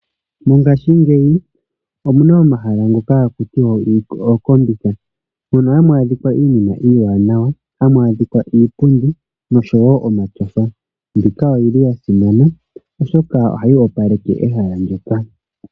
Mongashingeyi omuna omahala ngoka haku tiwa okombitha. Mono hamu adhikwa iinima iiwanawa, hamu adhika iipundi noshowo omatyofa. Mbika oyili yasimana oshoka oyili hayi opaleke ehala ndyoka.